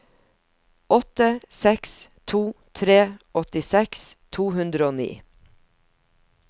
åtte seks to tre åttiseks to hundre og ni